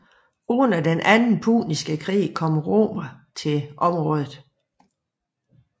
Under den anden puniske krig kom romerne til området